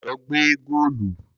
Lọ gbẹ́ góòlù!